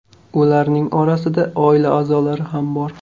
Ularning orasida oila a’zolari ham bor.